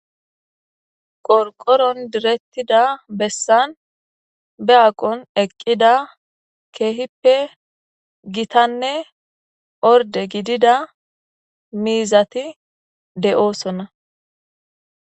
qorqoron direttida bessan be aqon eqqida keehippe gitanne orde gidida miizati de7oosona